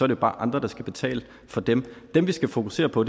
det bare andre der skal betale for dem dem vi skal fokusere på